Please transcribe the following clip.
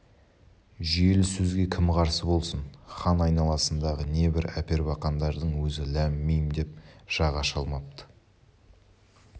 жүйелі сөзге кім қарсы болсын хан айналасындағы небір әпербақандардың өзі ләм-мим деп жақ аша алмапты